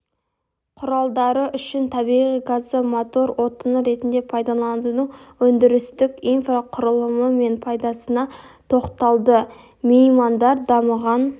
құралдары үшін табиғи газды мотор отыны ретінде пайдаланудың өндірістік инфрақұрылымы мен пайдасына тоқталды меймандар дамыған